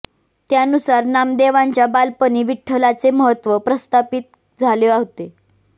त्यानुसार नामदेवांच्या बालपणी विठ्ठलाचे महत्त्व प्रस्थापित झाले होते